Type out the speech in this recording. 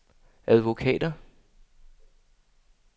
advokater